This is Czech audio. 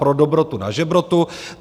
Pro dobrotu na žebrotu.